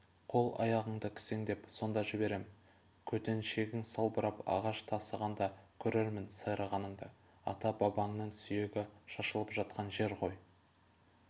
қол-аяғыңды кісендеп сонда жіберем көтеншегің салбырап ағаш тасығанда көрермін сайрағаныңды ата-бабаңның сүйегі шашылып жатқан жер ғой